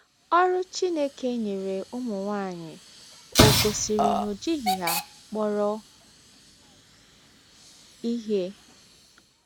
Ọrụ Chineke nyere ụmụ nwaanyị ò gosiri na o jighị ha kpọrọ ihe?